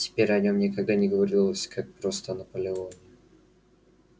теперь о нём никогда не говорилось как просто о наполеоне